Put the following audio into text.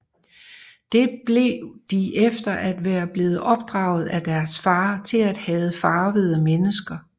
Det blev de efter at være blevet opdraget af deres fader til at hade farvede mennesker